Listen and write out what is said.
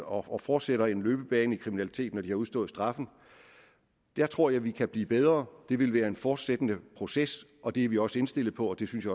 og og fortsætter en løbebane i kriminaliteten når de har udstået straffen der tror jeg at vi kan blive bedre det vil være en fortløbende proces og det er vi også indstillet på og det synes